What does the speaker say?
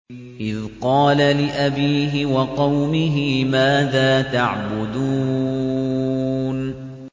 إِذْ قَالَ لِأَبِيهِ وَقَوْمِهِ مَاذَا تَعْبُدُونَ